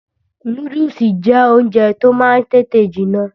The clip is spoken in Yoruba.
Núdùsì jẹ́ oúnjẹ tí ó máa ń tètè jiná